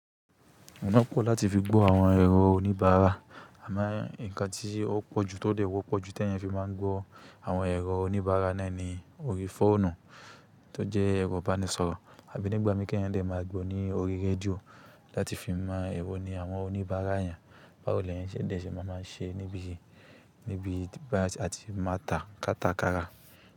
Òná pọ̀ láti fi gbọ́ àwọn ẹ̀rọ oníbàárà, àmọ́ ǹkan tí ó pọ̀jù tóde wọ́pọ̀jù tí èèyàn fi máa ń gbọ́ àwọn ẹ̀rọ oníbàárà náà ni orí fóònù tó jẹ́ ẹ̀rọ ìbánisọ̀rọ̀ àbí nígbà míkàn èèyàn lè máa gbọ́ ní orí rédíò láti fi mọ èèwò ni àwọn oníbàárà yàn. Bawo l'èyàn ṣe lè má má ṣe níbí yìí, níbi àti máa tà kátàkárà.